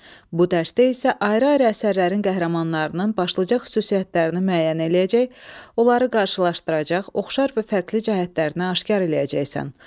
Bu dərsdə isə ayrı-ayrı əsərlərin qəhrəmanlarının başlıca xüsusiyyətlərini müəyyən eləyəcək, onları qarşılaşdıracaq, oxşar və fərqli cəhətlərini aşkar eləyəcəksən.